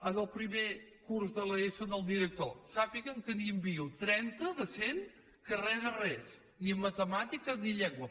en el primer curs de l’eso al director sàpiga que n’hi envio trenta de cent que re de res ni en matemàtiques ni en llengua